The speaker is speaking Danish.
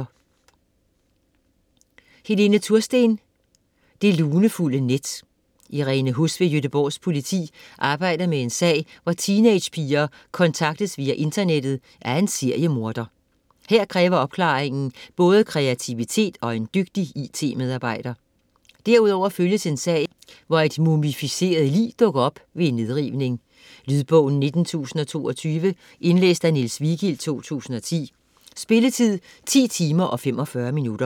Tursten, Helene: Det lunefulde net Irene Huss ved Göteborgs politi arbejder med en sag, hvor teenagepiger kontaktes via internettet af en seriemorder. Her kræver opklaringen både kreativitet og en dygtig it-medarbejder. Derudover følges en sag, hvor et mumificeret lig dukker op ved en nedrivning. Lydbog 19022 Indlæst af Niels Vigild, 2010. Spilletid: 10 timer, 45 minutter.